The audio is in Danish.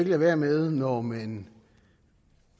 lade være med når man